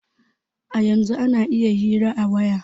A yanzun ana iya hira a waya